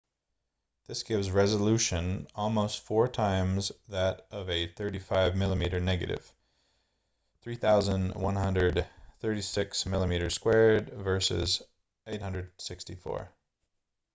this gives resolution almost four times that of a 35 mm negative 3136 mm2 versus 864